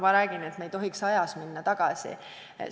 Me ei tohiks ajas tagasi minna.